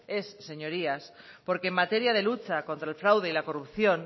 es señorías porque en materia de lucha contra el fraude y la corrupción